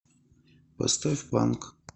поставь панк